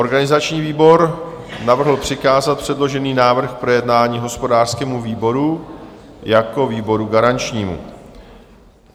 Organizační výbor navrhl přikázat předložený návrh k projednání hospodářskému výboru jako výboru garančnímu.